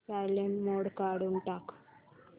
silent mode काढून टाक